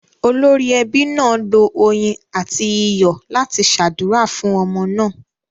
Olórí ẹbí náà lo oyin àti iyọ̀ láti ṣàdúrà fún ọmọ náà.